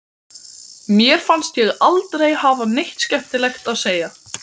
Mér fannst ég aldrei hafa neitt skemmtilegt að segja.